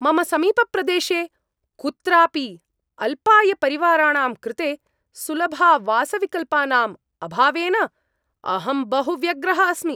मम समीपप्रदेशे कुत्रापि अल्पायपरिवाराणां कृते सुलभावासविकल्पानाम् अभावेन अहं बहु व्यग्रः अस्मि।